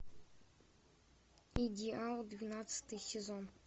идеал двенадцатый сезон